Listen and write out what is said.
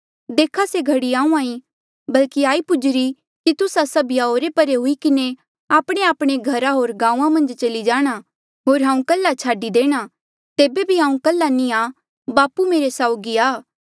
देखा से घड़ी आहूँआं ईं बल्कि आई पुजीरी कि तुस्सा सभीया ओरे परे हुई किन्हें आपणेआपणे घरा होर गांऊँआं मन्झ चली जाणा होर हांऊँ कल्हा छाडी देणा तेबे बी हांऊँ कल्हा नी आ बापू मेरे साउगी आ